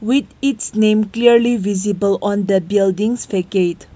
with its name clearly visible on the buildings fecade.